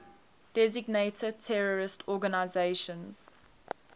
designated terrorist organizations